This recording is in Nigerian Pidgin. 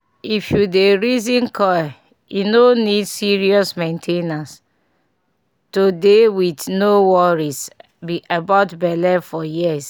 if you dey reason coil e no need serious main ten ance -- to dey with no worries about belle for years